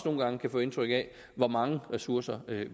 nogle gange kan få indtryk af hvor mange ressourcer